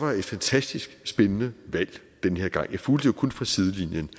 var et fantastisk spændende valg den her gang jeg fulgte kun fra sidelinjen